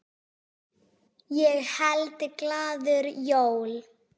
Ég held glaður jól.